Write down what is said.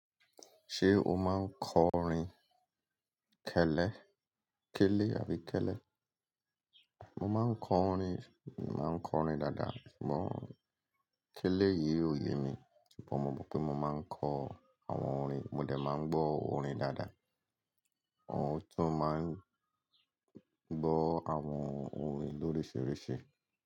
Ṣé o máa ń kọ orin kẹ́lẹ́, kélé àbí kẹ́lẹ́? Mo máa ń kọ orin, mo máa ń kọ orin dáadáa. Ṣùgbọ́n kélé yìí ò yé mi, ṣùgbọ́n mo mọ pé mo máa ń kọ àwọn orin, mo dẹ̀ máa ń gbọ́ orin dáadáa. Awon tun maa n gbọ awọn orin loríṣiríṣi.